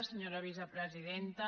senyora vicepresidenta